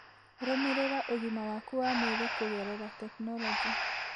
Rũmĩrĩra ũgima waku wa mwĩrĩ kũgerera tekinoronjĩ.